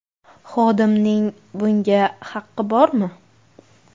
Xodimning bunga haqqi bormi?